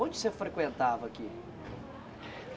Onde você frequentava aqui?